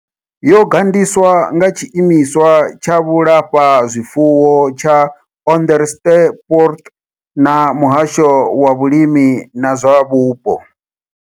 Yo gandiswa nga Tshiimiswa tsha Vhulafha zwifuwo tsha Onderstepoort na Muhasho wa Vhulimi na zwa Vhupo.